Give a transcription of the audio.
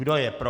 Kdo je pro?